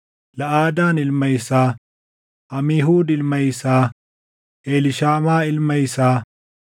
Laʼadaan ilma isaa, Amiihuud ilma isaa, Eliishaamaa ilma isaa,